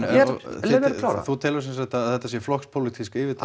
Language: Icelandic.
þú telur semsagt að þetta sé flokkspólitísk yfirtaka